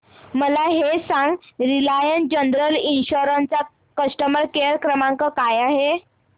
मला हे सांग रिलायन्स जनरल इन्शुरंस चा कस्टमर केअर क्रमांक काय आहे